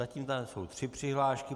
Zatím tady jsou tři přihlášky.